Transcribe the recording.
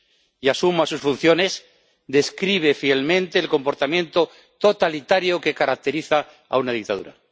y asuma sus funciones describe fielmente el comportamiento totalitario que caracteriza a una dictadura.